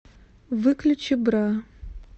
выключи бра